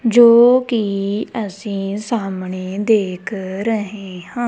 ਜੋ ਕਿ ਅਸੀ ਸਾਹਮਣੇ ਦੇਖ ਰਹੇ ਹਾਂ।